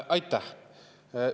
Aitäh!